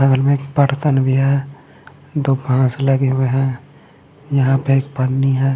बगल मे एक पड़तन भी है दो घास लगे हुए है यहाँ पे एक पन्नी है।